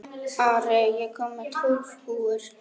Ari, ég kom með tólf húfur!